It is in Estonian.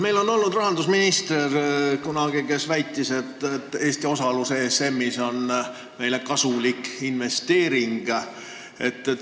Meil on olnud rahandusminister, kes kunagi väitis, et osalus ESM-is on Eestile kasulik investeering.